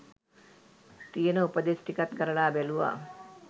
තියන උපදෙස් ටිකත් කරලා බැලුවා